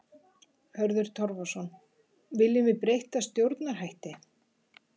Hörður Torfason: Viljum við breytta stjórnarhætti?